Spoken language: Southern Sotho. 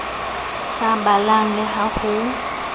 sa balang le ha ho